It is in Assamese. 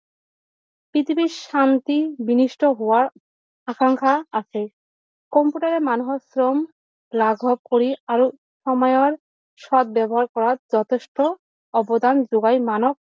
পৃথিৱীৰ শান্তি বিনিস্থ হোৱাৰ আশংকা আছে কম্পিউটাৰে মানুহৰ ক্ষম লাঘৱ কৰি আৰু সময়ৰ সত ব্যৱহাৰ কৰা যথেষ্ট অৱদান যোগাই মানৱ